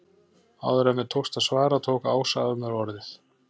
Áður en mér tókst að svara tók Ása af mér orðið.